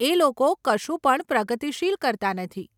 એ લોકો કશું પણ પ્રગતિશીલ કરતાં નથી.